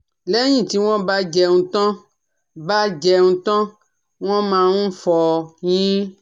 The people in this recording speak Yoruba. lẹ́yìn tí wọ́n bá jẹun tán bá jẹun tán wọ́n máa ń fọyín